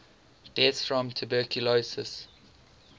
deaths from tuberculosis